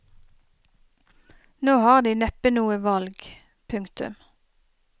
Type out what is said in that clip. Nå har de neppe noe valg. punktum